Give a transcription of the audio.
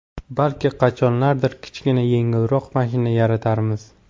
Balki, qachonlardir kichkina, yengilroq mashina yaratarmiz”.